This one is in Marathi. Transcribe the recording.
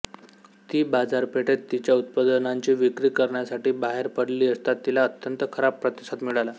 ती बाजारपेठेत तिच्या उत्पादनांची विक्री करण्यासाठी बाहेर पडली असता तिला अत्यंत खराब प्रतिसाद मिळाला